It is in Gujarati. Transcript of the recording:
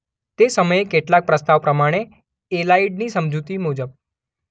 તે સમયે કેટલાક પ્રસ્તાવ પ્રમાણે એલાઇડની સમજૂતી મુજબ